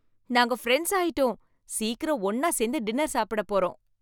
நாங்க ஃபிரண்ட்ஸ் ஆயிட்டோம், சீக்கிரம் ஒன்னா சேர்ந்து டின்னர் சாப்பிடப் போறோம்